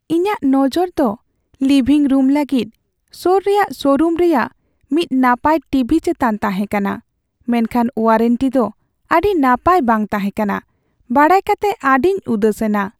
ᱤᱧᱟᱹᱜ ᱱᱚᱡᱚᱨ ᱫᱚ ᱞᱤᱵᱷᱤᱝ ᱨᱩᱢ ᱞᱟᱹᱜᱤᱫ ᱥᱳᱨ ᱨᱮᱭᱟᱜ ᱥᱳᱨᱩᱢ ᱨᱮᱭᱟᱜ ᱢᱤᱫ ᱱᱟᱯᱟᱭ ᱴᱤᱵᱷᱤ ᱪᱮᱛᱟᱱ ᱛᱟᱦᱮᱸᱠᱟᱱᱟ, ᱢᱮᱱᱠᱷᱟᱱ ᱳᱣᱟᱨᱮᱱᱴᱤ ᱫᱚ ᱟᱹᱰᱤ ᱱᱟᱯᱟᱭ ᱵᱟᱝ ᱛᱟᱦᱮᱸ ᱠᱟᱱᱟ ᱵᱟᱲᱟᱭ ᱠᱟᱛᱮ ᱟᱹᱰᱤᱧ ᱩᱫᱟᱹᱥᱮᱱᱟ ᱾